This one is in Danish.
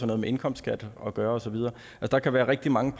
noget med indkomstskat at gøre og så videre der kan være rigtig mange